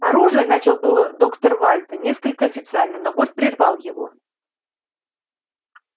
оружие начал было доктор вальто несколько официально но борт прервал его